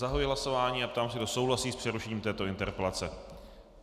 Zahajuji hlasování a ptám se, kdo souhlasí s přerušením této interpelace.